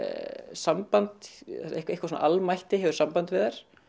samband eitthvað svona almætti hefur samband við þær